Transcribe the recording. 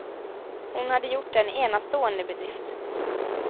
Hon hade gjort en enastående bedrift.